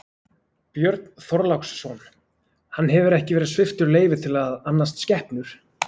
Björn Þorláksson: Hann hefur ekki verið sviptur leyfi til að annast skepnur?